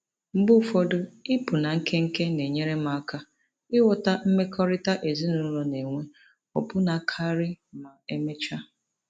Mgbe ụfọdụ, ịpụ na nkenke na-enyere m aka ịghọta mmekọrịta ezinụlọ na-enwe ọbụna karị ma emechaa.